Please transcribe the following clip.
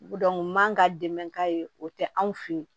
man ka dɛmɛ k'a ye o tɛ anw fe yen